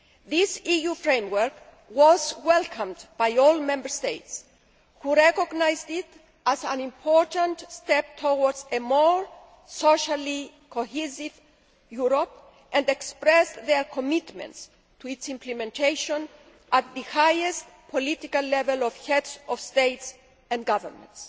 This EU Framework was welcomed by all Member States, who recognised it as an important step towards a more socially cohesive Europe and expressed their commitment to its implementation at the highest political level of Heads of State and Governments.